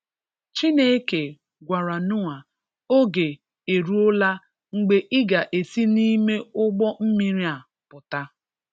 Chineke gwara Noah oge e ruọla mgbe ị ga esi n'ime ụgbọ mmiri a pụta.